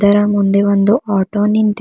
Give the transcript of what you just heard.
ಅದರ ಮುಂದೆ ಒಂದು ಆಟೋ ನಿಂತಿ--